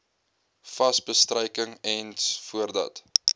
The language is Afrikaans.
wasbestryking ens voordat